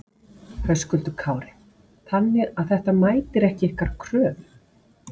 Höskuldur Kári: Þannig að þetta mætir ekki ykkar kröfum?